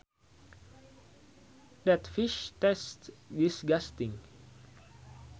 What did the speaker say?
That fish tastes disgusting